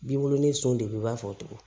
B'i wolo ni son de ye i b'a fɔ tugun